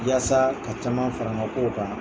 Yasa ka caman fara n ka kow kan.